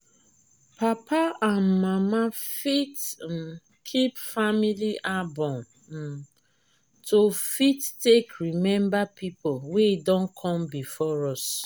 papa and mama fit um keep family album um to fit take remember people wey don come before us